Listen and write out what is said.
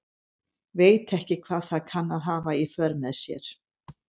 Veit ekki hvað það kann að hafa í för með sér.